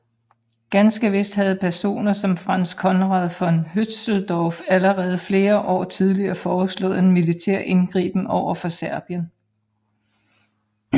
Ganske vist havde personer som Franz Conrad von Hötzendorf allerede flere år tidligere foreslået en militær indgriben overfor Serbien